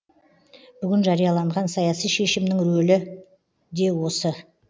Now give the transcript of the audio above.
бүгін жарияланған саяси шешімнің рөлі де осы